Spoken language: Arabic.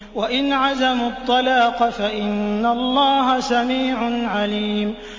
وَإِنْ عَزَمُوا الطَّلَاقَ فَإِنَّ اللَّهَ سَمِيعٌ عَلِيمٌ